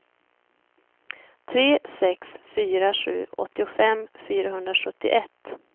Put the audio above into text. tre sex fyra sju åttiofem fyrahundrasjuttioett